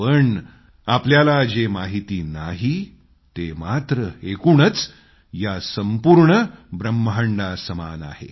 आणि आपल्याला जे माहिती नाही ते मात्र एकूणच या संपूर्ण ब्रह्मांडासमान आहे